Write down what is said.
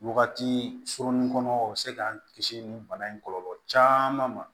Wagati surunin kɔnɔ o bi se k'an kisi nin bana in kɔlɔlɔ caman ma